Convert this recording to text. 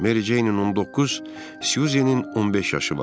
Meri Ceynin 19, Syuzenin 15 yaşı var.